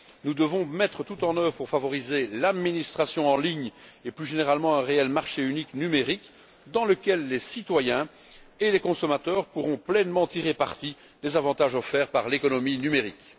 Nous devons tout mettre en œuvre afin de favoriser l'administration en ligne et plus généralement un réel marché unique numérique, dans lequel les citoyens et les consommateurs pourront tirer pleinement parti des avantages offerts par l'économie numérique.